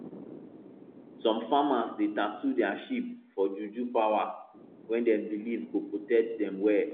some farmers dey tattoo their sheep for juju power wey dem believe go protect them well